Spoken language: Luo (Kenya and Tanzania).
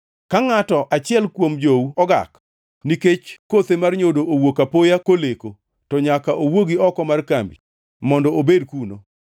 Ka ngʼato achiel kuom jou ogak nikech kothe mar nyodo owuok apoya koleko, to nyaka owuogi oko mar kambi mondo obed kuno.